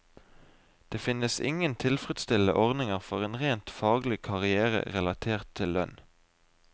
Det finnes ingen tilfredsstillende ordninger for en rent faglig karrière relatert til lønn.